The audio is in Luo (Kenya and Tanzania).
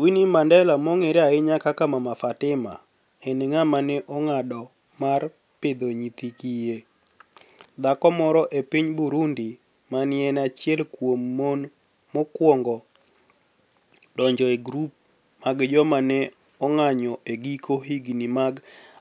Wininiie Manidela, monig'ere ahiniya kaka MamaFatima, eni nig'ama ni e onig'ado mar pidho niyithi kiye. Dhako moro e piniy Burunidi ma ni e eni achiel kuom moni ma nokwonigo donijo e grube mag joma ni e onig'anijo e giko higinii mag